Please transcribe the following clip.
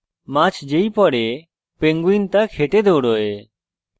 মাছ যেই পরে penguin তা খেতে দৌড়োয়